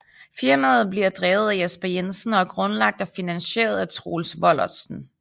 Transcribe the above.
Firmaet bliver drevet af Jesper Jensen og er grundlagt og finansieret af Troels Vollertsen